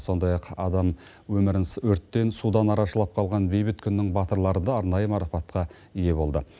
сондай ақ адам өмірін өрттен судан арашалап қалған бейбіт күннің батырлары да арнайы марапатқа ие болды